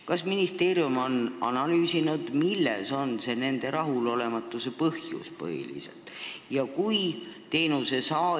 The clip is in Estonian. Kas ministeerium on analüüsinud, mis nende rahulolematuse põhjus põhiliselt on?